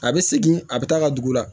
A bɛ segin a bɛ taa ka dugu la